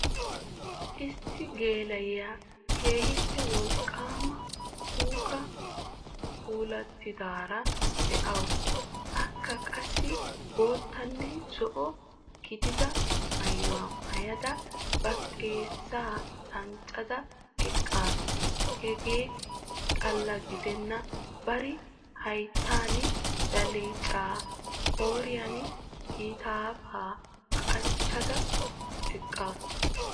Issi geela'iya keehippe wolqaama puuka puulatidaara de'awusu. Akka qaasi boottanne zo'o gidiida maayuwa maayada ba xeessa danccada eqqasu. Heega xalla giidenan bari hayiitan belecca, qooriyan kiitaafa qachchada eqqaasu.